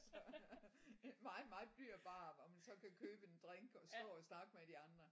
Så en meget meget dyr bar hvor man så kan købe en drink og stå og snakke med de andre